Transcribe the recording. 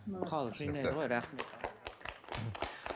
халық жинайды ғой рахмет